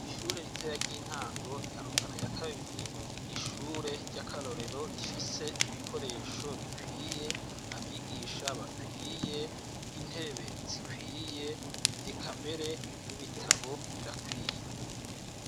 Ishure ritoya ry'intango rya Rutana ya kabiri n 'ishure ry'akarorero rifise ibikoresho bikwiye abigisha bakwiye, intebe zikwiye eka mbere n'ibitabo birakwiye.